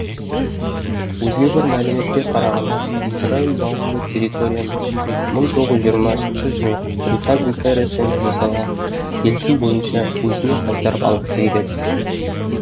өзге бір мәліметке қарағанда израиль даулы территорияны мың тоғыз жүз жиырмасыншы жылы британ империясымен жасалған келісім бойынша өзіне қайтарып алғысы келеді